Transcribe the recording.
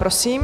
Prosím.